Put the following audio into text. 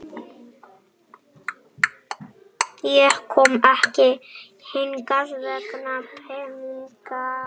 Ég kom ekki hingað vegna peningana.